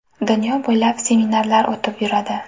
Dunyo bo‘ylab, seminarlar o‘tib yuradi.